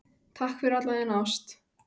Takk fyrir alla þína ást.